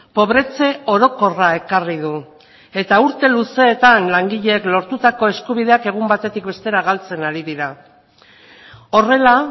pobretze orokorra ekarri du eta urte luzeetan langileek lortutako eskubideak egun batetik bestera galtzen ari dira horrela